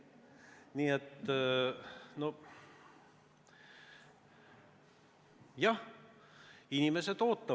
Nii et jah, inimesed ootavad.